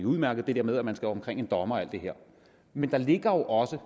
udmærket det der med at man skal omkring en dommer og alt det her men der ligger jo også